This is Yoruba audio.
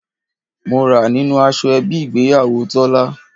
Mo ra nínú aṣọ ẹbí ìgbéyàwó Tọ́lá.